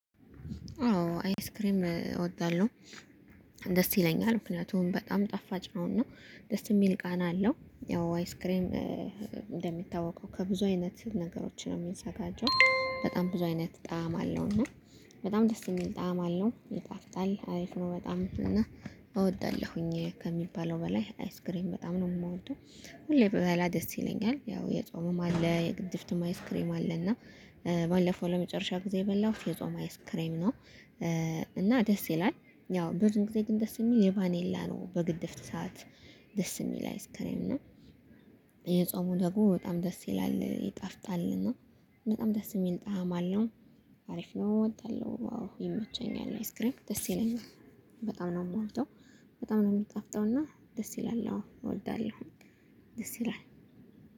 አዎ አይስክሬም እወዳለሁ። ደስ ይለኛል ምክንያቱም በጣም ጣፋጭ ነው እና ደስ የሚል ቃና አለው። ያው አይስክሬም እንደሚታወቀው ከብዙ አይነት ነገሮችን ነው የሚዘጋጀው በጣም ብዙ አይነት ጣዕም አለው እና በጣም ደስ የሚል ጣዕም አለው ይጣፍጣል አሪፍ ነው በጣም እና እወዳለሁኝ ከሚባለው በላይ አይስክሬን በጣም ነው የምወደው ሁሌ ብበላ ደስ ይለኛል። ያው የጾምም አለ የግድፍትም አይስክሬም አለ እና ባለፈው ለመጨረሻ ጊዜ የበላሁት የጾም አይስክሬም ነው። እና ደስ ይላል ያው ብዙ ጊዜ ግን ደስ የሚል የባኔላ ነው። በግድፍት ሰዓት ደስ የሚል አይስክሬም ነው። የጾሙ ደግሞ በጣም ደስ ይላል ይጣፍጣል እና በጣም ደስ የሚል ጣዕም አለው። አሪፍ ነው እወዳለሁ አዎ ይመቸኛል አይስክሬም ደስ ይለኛል። በጣም ነው የምወደው በጣም ነው የምጣፍጠውና ደስ ይላል አዎ እወልዳለሁ ደስ ይላል።